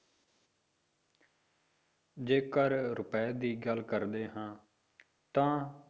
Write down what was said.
ਜੇਕਰ ਰੁਪਏ ਦੀ ਗੱਲ ਕਰਦੇ ਹਾਂ ਤਾਂ